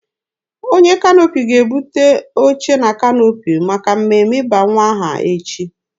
Onye kanoopi ga-ebute oche na kanoopi maka mmemme ịba nwa aha echi.